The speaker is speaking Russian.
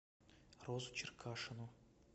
розу черкашину